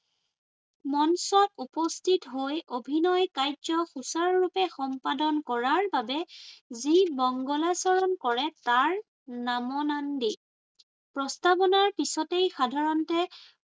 মঞ্চত উপস্থিত হৈ অভিনয় কাৰ্য সূচাৰুৰূপে সম্পাদন কৰাৰ বাবে যি মংগলাচৰণ কৰে তাৰ । প্ৰস্তাৱনাৰ পিছতেই সাধাৰণতে